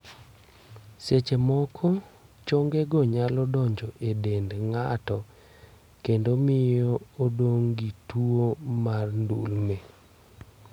Seche moko, chongego nyalo donjo e dend ng'ato kendo miyo odong' gi tuwo mar ndulme.